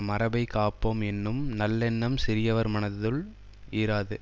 மரபைக் காப்போம் என்னும் நல்லெண்ணம் சிறியவர் மனத்துள் இராது